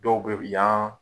Dɔw bɛ yan